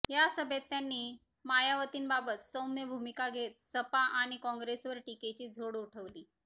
या सभेत त्यांनी मायावतींबाबत सौम्य भूमिका घेत सपा आणि काँग्रेसवर टीकेची झोड उठवली